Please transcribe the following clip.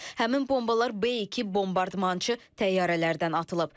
Həmin bombalar B2 bombardmançı təyyarələrdən atılıb.